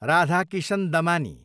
Radhakishan Damani